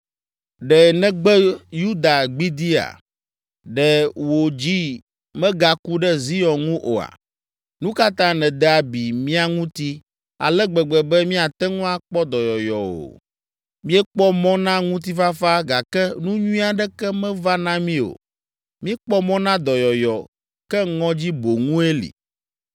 “Ɖe nègbe Yuda gbidiia? Ɖe wò dzi megaku ɖe Zion ŋu oa? Nu ka ta nède abi mía ŋuti ale gbegbe be míate ŋu akpɔ dɔyɔyɔ o? Míekpɔ mɔ na ŋutifafa gake nu nyui aɖeke meva na mí o. Míekpɔ mɔ na dɔyɔyɔ, ke ŋɔdzi boŋue li.